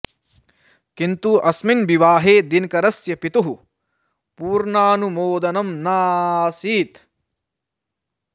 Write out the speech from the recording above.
किन्तु अस्मिन् विवाहे दिनकरस्य पितुः पूर्णानुमोदनं न आसीत्